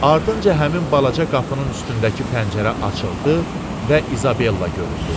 Ardınca həmin balaca qapının üstündəki pəncərə açıldı və İzabella göründü.